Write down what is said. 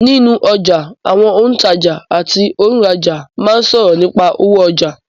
Nínú ọjà, àwọn òǹtajà àti òǹrajà máa ń sọ̀rọ̀ nípà owó ọjà.